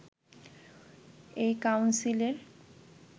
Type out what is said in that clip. এই কাউন্সিলের